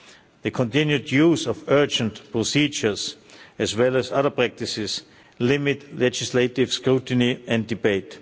The continued use of urgent procedures, as well as other practices, limits legislative scrutiny and debate.